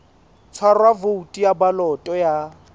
tshwarwa voutu ya baloto ya